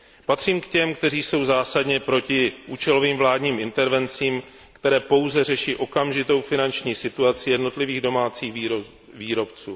Patřím k těm, kteří jsou zásadně proti účelovým vládním intervencím, které pouze řeší okamžitou finanční situaci jednotlivých domácích výrobců.